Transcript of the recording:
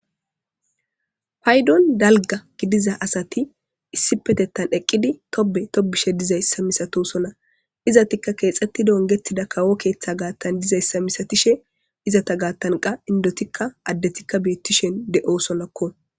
paydon dalga gidiza asati issi petettan eqqidi tobe tobishe dizayssa misato sona izatikka keexxetti dongetida kawo keeththa gaattan dizayssa misatishe izata gaattanqa indotikka addetikka beettishen de7o sonakko